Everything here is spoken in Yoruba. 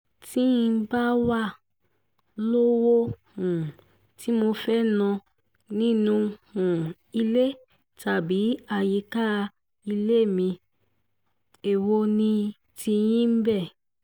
tí n bá wàá lówó um tí mo fẹ́ẹ́ ná nínú um ilé tàbí àyíká ilé mi èwo ni tiyín níbẹ̀